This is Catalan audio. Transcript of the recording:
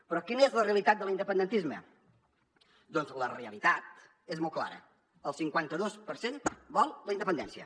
però quina és la realitat de l’independentisme doncs la realitat és molt clara el cinquanta dos per cent vol la independència